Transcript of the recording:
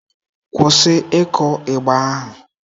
Kwụsị ịkụ igba ahụ!